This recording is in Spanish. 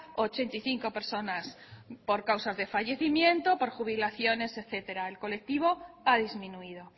ochenta y cinco personas por causas de fallecimiento por jubilaciones etcétera el colectivo ha disminuido